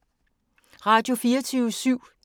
Radio24syv